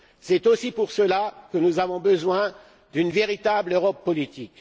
C'est aussi pour cela que nous avons besoin d'une véritable Europe politique.